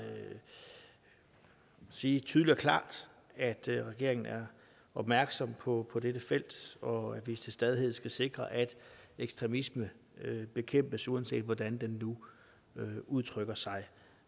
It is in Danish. sige tydeligt og klart at regeringen er opmærksom på dette felt og at vi til stadighed skal sikre at ekstremisme bekæmpes uanset hvordan den nu udtrykker sig